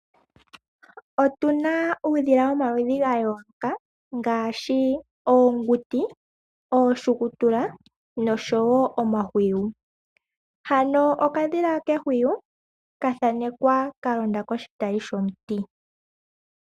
Otuna uudhila womaludhi gayooloka ngaashi oonguti ,ooshukutula noshowo omahwiyu ,okadhila kehwiyu ohakalondo kiitayi yomiti.